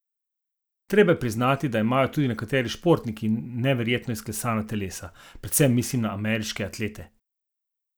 Treba je priznati, da imajo tudi nekateri športniki neverjetno izklesana telesa, predvsem mislim na ameriške atlete.